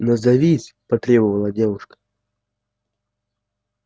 назовись потребовала девушка